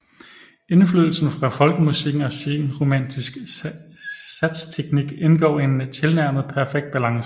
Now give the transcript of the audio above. Indflydelsen fra folkemusikken og senromantisk satsteknik indgår i en tilnærmet perfekt balance